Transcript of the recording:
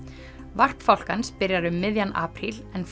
varp fálkans byrjar um miðjan apríl en